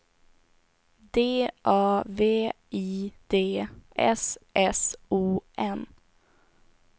D A V I D S S O N